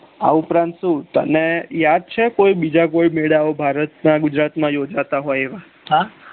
આ ઉપરાંત છુ તને યાદ છે કોઈ બીજા કોઈ મેળા ઓ ભારત ના ગુજરાત માં ઉજવાતા હોય એવા